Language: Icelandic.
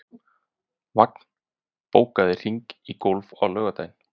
Vagn, bókaðu hring í golf á laugardaginn.